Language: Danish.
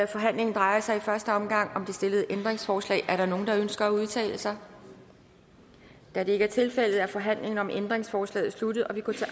forhandlingen drejer sig i første omgang om det stillede ændringsforslag er der nogen der ønsker at udtale sig da det ikke er tilfældet er forhandlingen om ændringsforslaget sluttet og vi går til